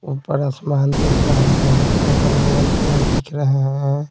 ऊपर आसमान दिख रहा है अगल-बगल पेड़ दिख रहे हैं।